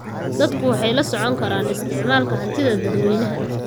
Dadku waxay la socon karaan isticmaalka hantida dadweynaha.